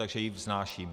Takže ji vznáším.